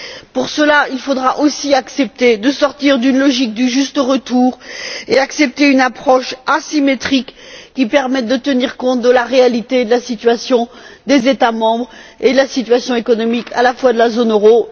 Pour cela, il faudra aussi accepter de sortir d'une logique du juste retour et accepter une approche asymétrique qui permette de tenir compte de la réalité de la situation des États membres et de la situation économique à la fois de la zone euro et de l'Union européenne.